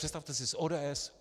Představte si, s ODS.